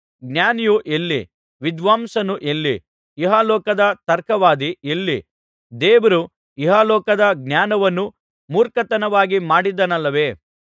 ಜ್ಞಾನಿಯು ಎಲ್ಲಿ ವಿದ್ವಾಂಸನು ಎಲ್ಲಿ ಇಹಲೋಕದ ತರ್ಕವಾದಿ ಎಲ್ಲಿ ದೇವರು ಇಹಲೋಕದ ಜ್ಞಾನವನ್ನು ಮೂರ್ಖತನವಾಗಿ ಮಾಡಿದ್ದಾನಲ್ಲವೇ